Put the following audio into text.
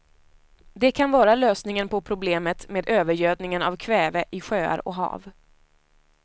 Det kan vara lösningen på problemet med övergödningen av kväve i sjöar och hav.